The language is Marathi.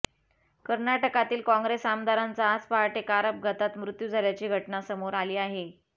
कर्नाटकातील काँग्रेस आमदाराचा आज पहाटे कार अपघातात मृत्यू झाल्याची घटना समोर आली आहे